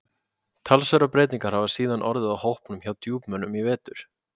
Talsverðar breytingar hafa síðan orðið á hópnum hjá Djúpmönnum í vetur.